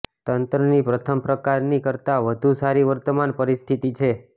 તંત્રની પ્રથમ પ્રકારની કરતાં વધુ સારી વર્તમાન પરિસ્થિતિ છે